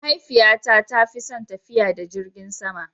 Mahaifiyata ta fi son tafiya da jirgin kasa.